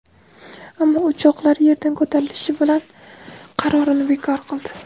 Ammo uchoqlar yerdan ko‘tarilishi bilan qarorini bekor qildi.